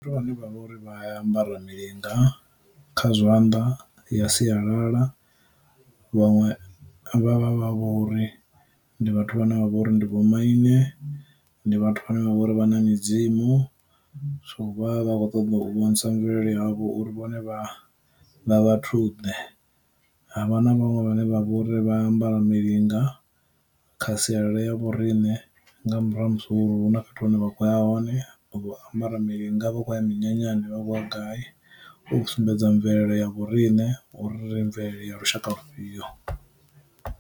Vhane vha vha uri vha ambara milinga kha zwanḓa ya sialala, vhaṅwe vha vha vha vho uri ndi vhathu vhane vha vha uri ndi vhomaine, ndi vhathu vhane vha vha uri vha na mudzimu, so vha vha kho ṱoḓa u vhonisa mvelele yavho uri vhone vha vha vhathu ḓe. Havha na vhaṅwe vhane vha vha uri vha ambara milinga kha sialala ya vhorine nga murahu ha musi uri hu na fhethu hune vha khoya hone ambara milanga vha khou ya minyanyani vha khoya gayi, u sumbedza mvelelo ya vhorine uri ri mvelele ya lushaka lufhio.